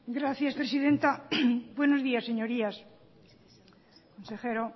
gracias presidenta buenos días señorías consejero